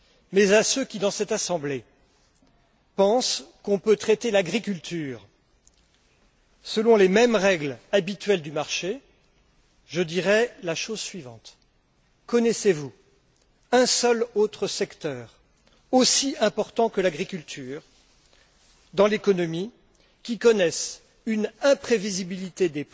Mais à ceux qui, dans cette assemblée, pensent qu'on peut traiter l'agriculture selon les mêmes règles habituelles du marché, je dirai la chose suivante connaissez vous un seul autre secteur aussi important que l'agriculture dans l'économie qui connaisse une telle imprévisibilité et